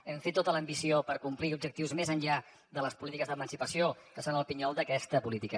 hem fet tota l’ambició per complir objectius més enllà de les polítiques d’emancipació que són el pinyol d’aquesta política